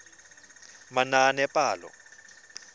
manaanepalo